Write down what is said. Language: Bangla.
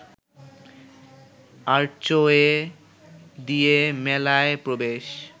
আর্চওয়ে দিয়ে মেলায় প্রবেশ